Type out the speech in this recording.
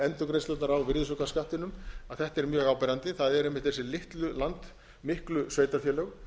endurgreiðslurnar á virðisaukaskattinum að þetta er mjög áberandi það eru þessi miklu sveitarfélög